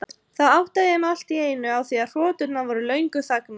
Þá áttaði ég mig allt í einu á því að hroturnar voru löngu þagnaðar.